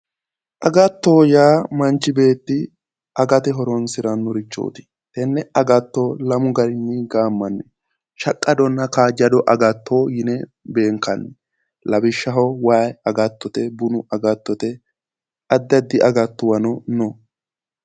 Agatto yaa manchi beetti agate horonsiranorichoti agatto lamu garinni gaamanni ,shaqqadonna kaajjado agatto yinne beenkanni lawishshaho waayi agattote, bunu agattote addi addi agattuwano no